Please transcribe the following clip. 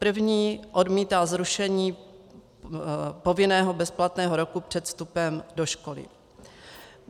První odmítá zrušení povinného bezplatného roku před vstupem do školy.